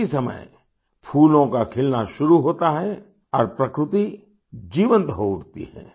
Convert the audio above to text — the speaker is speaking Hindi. इसी समय फूलों का खिलना शुरू होता है और प्रकृति जीवंत हो उठती है